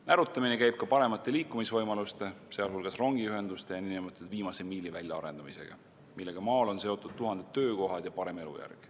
Närutamine käib ka paremate liikumisvõimaluste, sealhulgas rongiühenduste ja nn viimase miili väljaarendamisega, millega maal on seotud tuhanded töökohad ja parem elujärg.